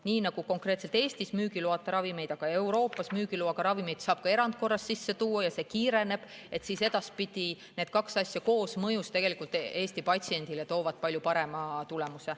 " Nii nagu konkreetselt Eestis müügiloata, aga Euroopas müügiloaga ravimeid saab erandkorras sisse tuua ja see kiireneb, toovad edaspidi need kaks asja koosmõjus Eesti patsiendile palju parema tulemuse.